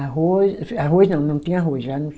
Arroz, arroz não, não tinha arroz.